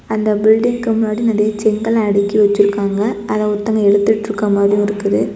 அந்த பில்டிங்க்கு முன்னாடி நெறய செங்கல அடுக்கி வச்சிருக்காங்க அத ஒருத்தங்க எடுத்துட்ருக்க மாதியும் இருக்குது.